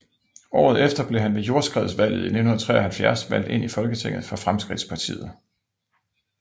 Året efter blev han ved jordskredsvalget 1973 valgt ind i Folketinget for Fremskridtspartiet